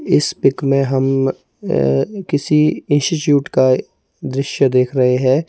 इस पिक में हम किसी इंस्टिट्यूट का दृश्य देख रहे हैं।